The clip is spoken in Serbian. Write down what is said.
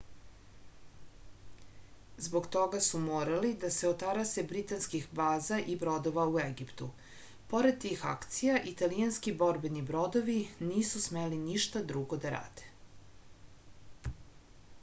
zbog toga su morali da se otarase britanskih baza i brodova u egiptu pored tih akcija italijanski borbeni brodovi nisu smeli ništa drugo da rade